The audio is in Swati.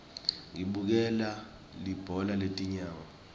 ngibukela libhola letinyawo